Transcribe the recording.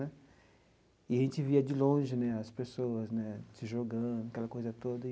Né e aí a gente via de longe né as pessoas né se jogando, aquela coisa toda.